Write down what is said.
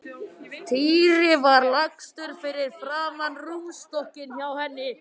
Týri var lagstur fyrir framan rúmstokkinn hjá henni.